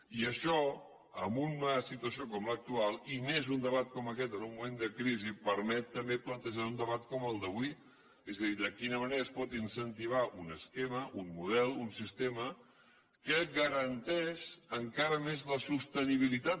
i això en una situació com l’actual i més en un debat com aquest en un moment de crisi permet també plantejar un debat com el d’avui és a dir de quina manera es pot incentivar un esquema un model un sistema que en garanteix encara més la sostenibilitat